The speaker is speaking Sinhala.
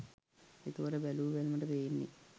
එතකොට බැලූ බැල්මට පේන්නේ